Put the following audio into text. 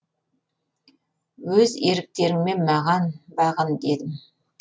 өз еріктеріңмен маған бағын дедім